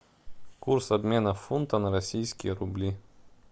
курс обмена фунта на российские рубли